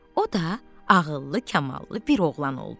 O da ağıllı, kamallı bir oğlan oldu.